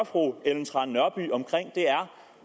fru ellen trane nørby om er